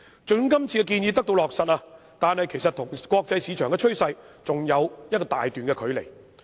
即使這次建議得到落實，香港的做法其實跟國際市場的趨勢仍有一大段距離。